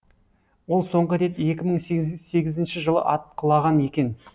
ол соңғы рет екі мың сегізінші жылы атқылаған екен